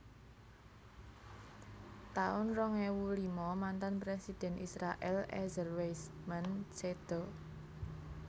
taun rong ewu lima Mantan Presiden Israèl Ezer Weizman séda